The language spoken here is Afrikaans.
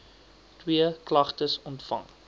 twee klagtes ontvang